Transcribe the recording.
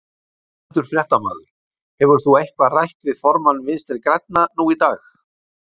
Ónefndur fréttamaður: Hefur þú eitthvað rætt við formann Vinstri-grænna nú í dag?